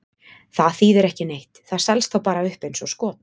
Það þýðir ekki neitt, það selst þá bara upp eins og skot.